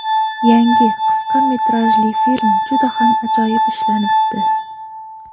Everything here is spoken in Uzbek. Yangi qisqa metrajli film juda ham ajoyib ishlanibdi.